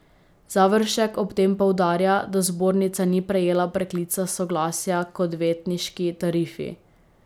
Završek ob tem poudarja, da zbornica ni prejela preklica soglasja k odvetniški tarifi.